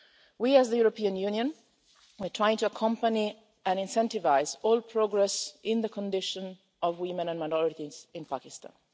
We, as the European Union, are trying to accompany and incentivise all progress in the condition of women and minorities in Pakistan.